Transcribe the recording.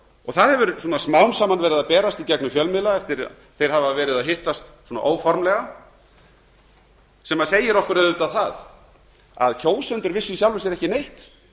hóp það hefur smám saman verið að berast í gegnum fjölmiðla eftir að þeir hafa verið að hittast óformlega sem segir okkur auðvitað það að kjósendur vissu í sjálfu sér ekki neitt